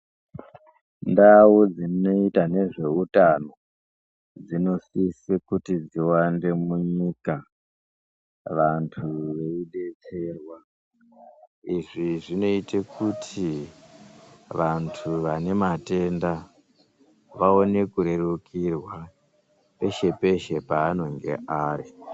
Ndau dzinoita nezveutano, dzinosise kuti dziwande munyika, vantu veidetserwa. Izvi zvinoite kuti, vantu vane matenda vaone kurerukirwa peshe-peshe panonga ari.